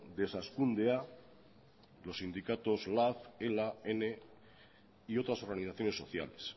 desazkundea los sindicatos lab ela ene y otras organizaciones sociales